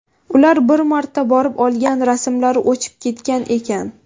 Ular bir marta borib olgan rasmlari o‘chib ketgan ekan.